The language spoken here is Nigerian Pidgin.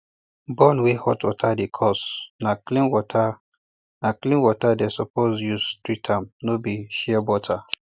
burn wey hot water dey cause na clean water na clean water dey suppose use treatam no be shea butter